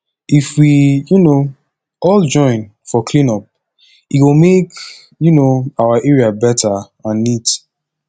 if we um all join for clean up e go make um our area better and neat